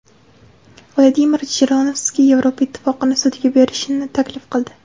Vladimir Jirinovskiy Yevropa Ittifoqini sudga berishni taklif qildi.